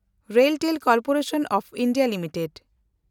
RailTel Corporation of India limited